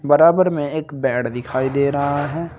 बराबर में एक बेड दिखाई दे रहा है।